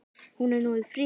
Hún er nú friðuð.